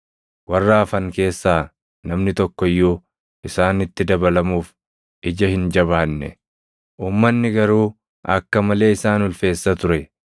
Warra hafan keessaa namni tokko iyyuu isaanitti dabalamuuf ija hin jabaanne, uummanni garuu akka malee isaan ulfeessa ture.